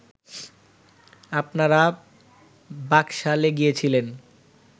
আপনারা বাকশালে গিয়েছিলেন